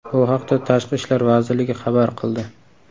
Bu haqda Tashqi ishlar vazirligi xabar qildi .